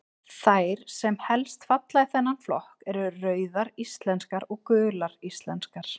Þær sem helst falla í þennan flokk eru Rauðar íslenskar og Gular íslenskar.